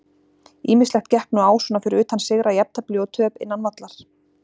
Ýmislegt gekk nú á svona fyrir utan sigra, jafntefli og töp innan vallar.